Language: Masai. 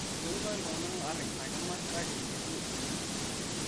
Etonyuaa ltung'ana aar ina kima kake eitu eidim